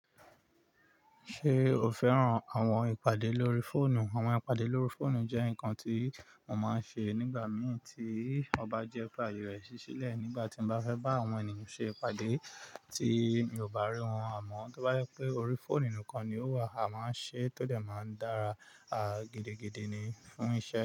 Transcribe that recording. Ṣé o fẹ́ràn àwọn ìpàdé lórí fóònù? Àwọn ìpàdé lórí fóònù jẹ́ nǹkan tí mo máa ń ṣe nígbà mìí tí ọba jẹ́ pé àyè rẹ ṣiṣi lẹ̀ nígbà tí mo bá fẹ́ bá àwọn ènìyàn ṣe ìpàdé tí mi ò bá rí wọn àmọ́, tó bá jẹ pé orí fóònù nìkan ni ó wà, a máa ń ṣe é tódẹ̀ máa ń dára gidi ni fún iṣẹ́